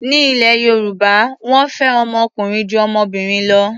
Ní ilẹ̀ Yorùbá, wọ́n fẹ́ ọmọ ọkùnrin ju ọmọbìnrin lọ.